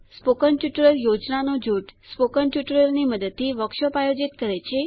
spoken tutorial યોજનાનું જૂથ spoken ટ્યુટોરિયલોની મદદથી વર્કશોપ આયોજિત કરે છે